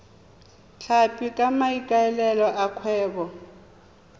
tlhapi ka maikaelelo a kgwebo